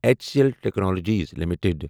each C L technologies limited